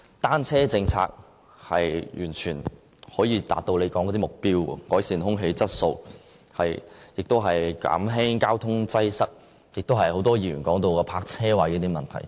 單車政策完全可以達到政府所說的目標：改善空氣質素、減輕交通擠塞，以及很多議員提到的泊車位問題。